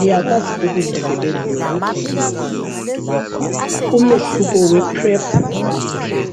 Liyakwazi ukulisebenzisa ikhondomu, umehluko wePrep lePep